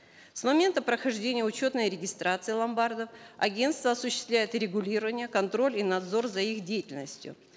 с момента прохождения учетной регистрации ломбардов агентство осуществляет регулирование контроль и надзор за их деятельностью